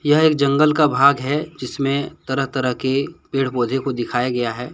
यह एक जंगल का भाग है जिसमें तहत तरह के पेड़ पौधे को दिखाया गया है।